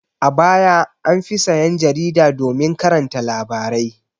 A baya an fi sayan jarida domin karanta labarai.